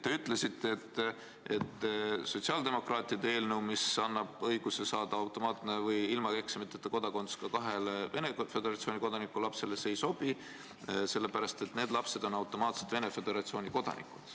Te ütlesite, et sotsiaaldemokraatide eelnõu, mis annab õiguse saada kodakondsus automaatselt või ilma eksamiteta kahe Venemaa Föderatsiooni kodaniku lapsel, ei sobi sellepärast, et need lapsed on automaatselt Venemaa Föderatsiooni kodanikud.